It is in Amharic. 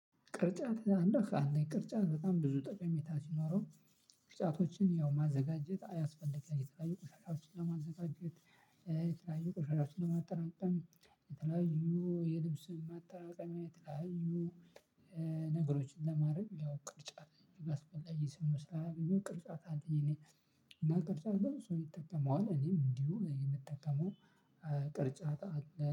ቅርጫት እንደ ቅርጫት በጣም ብዙ ጠቀሜታ ሲኖረው። ቅርጫቶችን ያው ማዘጋጀት አያስፈልግም የተለያዩ ቁሻቶችን ለማዘጋጀት የተለያዩ ቁሻቶችን ለማጠራቀም የተለያዩ የልብስን ማጠራቀሚያ የተለያዩ ነገሮችን ለማድረግ ያው አስፈላጊ ስለሆነ ቅርጫት አለኝ። እኔ ቅርጫት ብዙ ሰው ይጠቀመዋል እኔም እንዲሁ የምጠቀመው። ቅርጫት አለ